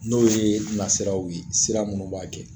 N'o ye nasiraw ye sira minnu b'a kɛ